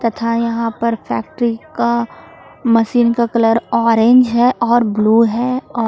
तथा यहां पर फैक्ट्री का मशीन का कलर ऑरेंज है और ब्लू है और--